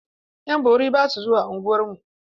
Ƴan bori ba su zuwa unguwarmu.